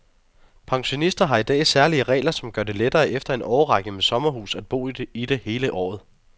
Pensionister har i dag særlige regler, som gør det lettere efter en årrække med sommerhus at bo i det hele året.